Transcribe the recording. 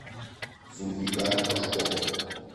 зульфикар пашков